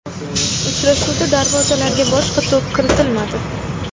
Uchrashuvda darvozalarga boshqa to‘p kiritilmadi.